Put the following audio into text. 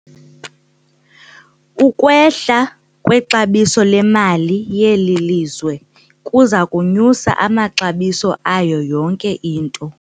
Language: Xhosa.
Ukwehla kwexabiso lemali yeli lizwe kuza kunyusa amaxabiso ayo yonke into.